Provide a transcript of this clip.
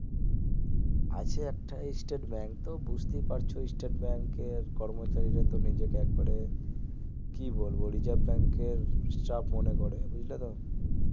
আছে একটা state bank তো বুজতেই পারছো স্টেট bank এর কর্মচারীরা তো নিজেকে একেবারে কি বলবো রিজাভ bank এর staff মনে করে বুজলে তো